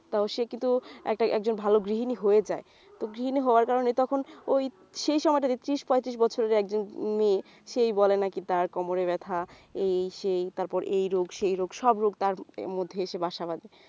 তো সে কিন্তু ~ একজন ভালো গৃহিণী হয়ে যায় তো গৃহিণী হওয়ার কারে তখন ওই সেই সময়টা যে ত্রিশ পঁয়ত্রিশ বছরের একজন মেয়ে সেই বলে নাকি তার কোমরে ব্যাথা এই সেই তারপর এই রোগ সেই রোগ সব রোগ তার মধ্যে এসে বাসা বাঁধে